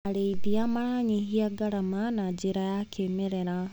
Arĩithia maranyihia ngarama na njĩra ya kĩmerera.